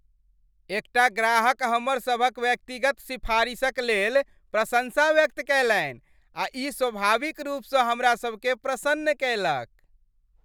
एकटा ग्राहक हमर सभक व्यक्तिगत सिफारिशक लेल प्रशंसा व्यक्त कयलनि आ ई स्वाभाविक रूपसँ हमरा सभकेँ प्रसन्न कयलक।